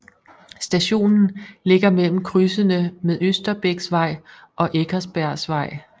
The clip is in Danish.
Stationen ligger mellem krydsene med Østerbæksvej og Eckersbergsvej